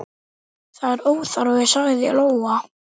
Það er óþarfi, sagði Lóa.